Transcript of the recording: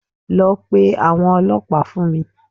Lọ pe àwọn ọlọ́pàá fún mi